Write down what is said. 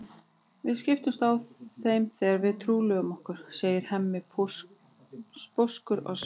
Við skiptumst á þeim þegar við trúlofum okkur, segir Hemmi sposkur á svip.